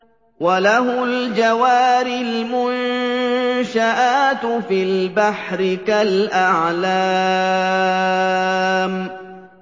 وَلَهُ الْجَوَارِ الْمُنشَآتُ فِي الْبَحْرِ كَالْأَعْلَامِ